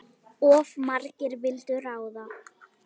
Of margir vildu ráða.